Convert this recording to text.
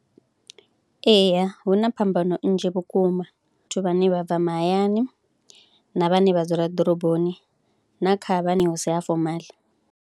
Eya hu na phambano nnzhi vhukuma kha vhathu vhane vha bva mahayani na vhane vha dzula ḓoroboni na kha vhane hu si a fomaḽi.